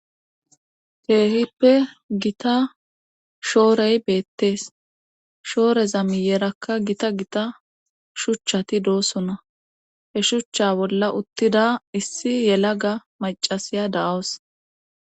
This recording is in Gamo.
Keehipe gita shoorey beetes shooreza miyerakka gita gita shuchati doosona he shucha bolla uttida issi yelaga maccasiya de7awus.